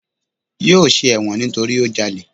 Yóò ṣe ẹ̀wọ̀n nítorí ó jalè.